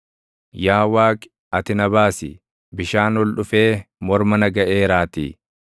Yaa Waaqi, ati na baasi; bishaan ol dhufee morma na gaʼeeraatii.